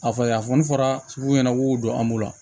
A fɔ yafan fɔra sugu ɲɛna k'u don an bolo